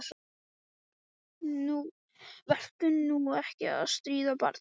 Vertu nú ekki að stríða barninu, góði.